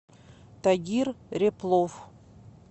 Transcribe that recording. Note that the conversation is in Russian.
тагир ряплов